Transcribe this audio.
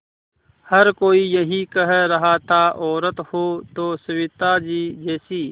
हर कोई यही कह रहा था औरत हो तो सविताजी जैसी